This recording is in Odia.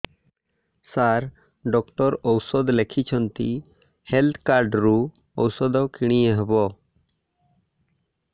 ସାର ଡକ୍ଟର ଔଷଧ ଲେଖିଛନ୍ତି ହେଲ୍ଥ କାର୍ଡ ରୁ ଔଷଧ କିଣି ହେବ